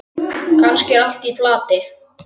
Kannski er allt í plati.